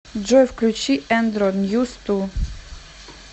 джой включи эндро ньюс ту